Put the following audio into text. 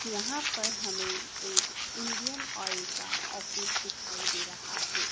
यहां पर हमें एक इंडियन ऑयल का ऑफिस दिखाई दे रहा है।